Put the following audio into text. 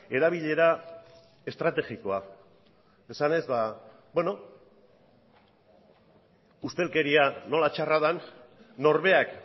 erabilera estrategikoa esanez ustelkeria nola txarra den norberak